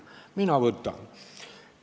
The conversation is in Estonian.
Mina võtan.